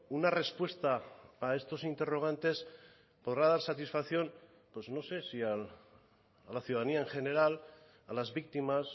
una respuesta a estos interrogantes podrá dar satisfacción pues no sé si a la ciudadanía en general a las víctimas